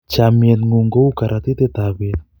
chamiet ng'un ko u karuatitet ab bet